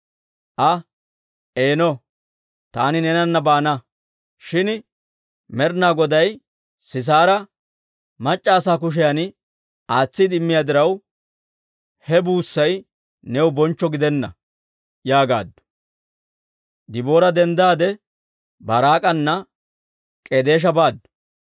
Aa, «Eeno, taani neenana baana; shin Med'inaa Goday Sisaara mac'c'a asaa kushiyan aatsiide immiyaa diraw, he buussay new bonchcho gidenna» yaagaaddu. Deboora denddaade, Baaraak'ana K'edeesha baaddu.